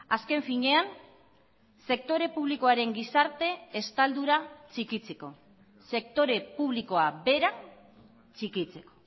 azken finean sektore publikoaren gizarte estaldura txikitzeko sektore publikoa bera txikitzeko